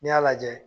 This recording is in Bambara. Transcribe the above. N'i y'a lajɛ